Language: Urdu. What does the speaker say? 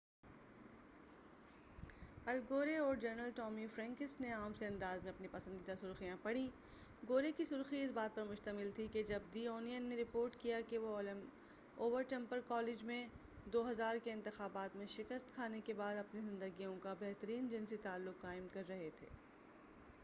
ال گورے اور جرنل ٹامی فرینکس نے عام سے انداز میں اپنی پسندیدہ سرخیاں پڑھیں گورے کی سرخی اس بات پر مشتمل تھی کہ جب دی اونین نے رپورٹ کیا کہ وہ اور ٹپر کالج میں 2000 کے انتخابات میں شکست کھانے کے بعد اپنی زندگیوں کا بہترین جنسی تعلق قائم کر رہے تھے۔